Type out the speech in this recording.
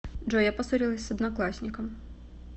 джой я поссорилась с одноклассником